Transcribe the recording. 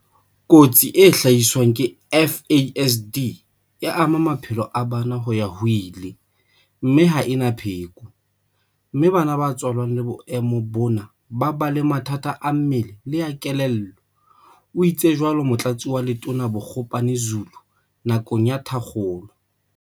"Kotsi e hlaiswang ke FASD e ama maphelo a bana ho ya ho ile, mme ha e na pheko, mme bana ba tswalwang le boemo bona ba ba le mathata a mmele le a kelello," o itsatso Motlatsi wa Letona Bogopane-Zulu nakong ya thakgolo.